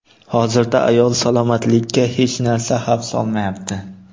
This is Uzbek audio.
Hozirda ayol salomatligiga hech narsa xavf solmayapti.